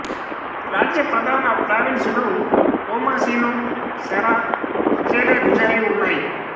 రాజ్య ప్రధాన ప్రావిన్సులు హామాసీను సెర అకేలే గుజాయి ఉన్నాయి